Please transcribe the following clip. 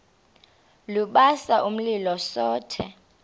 lubasa umlilo zothe